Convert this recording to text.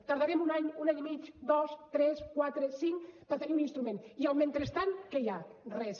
tardarem un any un any i mig dos tres quatre cinc per tenir un instrument i al mentrestant què hi ha res